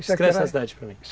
descreve essa cidade para mim.